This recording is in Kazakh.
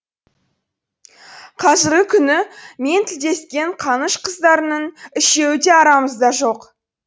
қазіргі күні мен тілдескен қаныш қыздарының үшеуі де арамызда жоқ